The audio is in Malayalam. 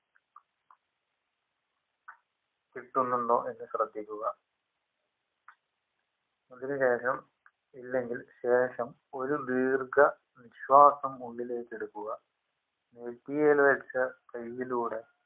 കിട്ടുന്നുണ്ടോ എന്ന് ശ്രെദ്ധിക്കുക അതിനുശേഷം ഇല്ലെങ്കിൽ ശേഷം ഒരു ദീർഘ നിശ്വാസം ഉള്ളിലേക്കെടുക്കുക നെറ്റിയില് വെച്ച കൈലൂടെ